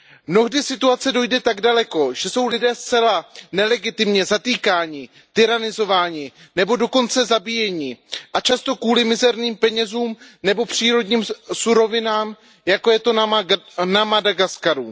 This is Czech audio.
Mnohdy situace dojde tak daleko, že jsou lidé zcela nelegitimně zatýkáni, tyranizováni nebo dokonce zabíjeni a často kvůli mizerným penězům nebo přírodním surovinám, jako je to na Madagaskaru.